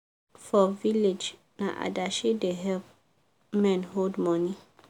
for village na adashi da help men hold money